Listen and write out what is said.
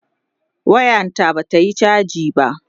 wayan ta Bata Yi chaji ba